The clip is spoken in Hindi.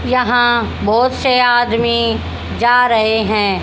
यहां बोहोत से आदमी जा रहे हैं।